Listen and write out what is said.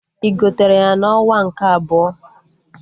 Ị gotere ya na onwa nke ebọ?